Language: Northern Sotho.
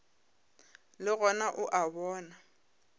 le gona o a bona